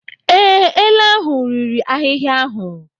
Ee, ele ahụ riri ahịhịa ahụ.